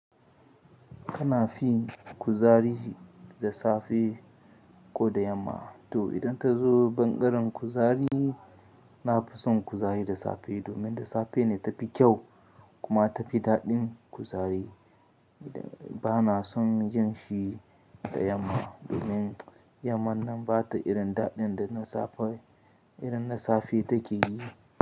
Kana fin kuzari da safe ko da yamma? To idan ta zo bangaren kuzari, na fi son kuzari da safe domin da safe ne ta fi kyau kuma ta fi daɗin kuzari. Ba na son yin shi da yamma domin yamman nan ba ta irin daɗin da na safe, irin na safe take yi.